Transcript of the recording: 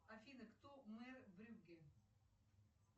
афина кто мэр брюгге